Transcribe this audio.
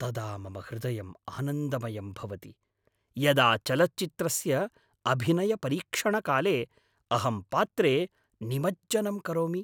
तदा मम हृदयम् आनन्दमयं भवति यदा चलच्चित्रस्य अभिनयपरीक्षणकाले अहं पात्रे निमज्जनं करोमि।